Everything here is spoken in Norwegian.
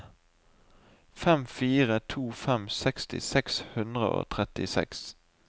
fem fire to fem seksti seks hundre og trettiseks